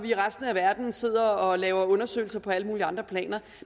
i resten af verden så sidder og laver undersøgelser på alle mulige andre planer